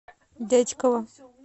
дятьково